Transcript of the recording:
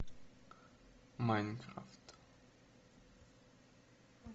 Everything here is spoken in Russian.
майнкрафт